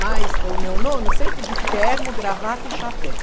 Mas o meu nono sempre de terno, gravata e chapéu.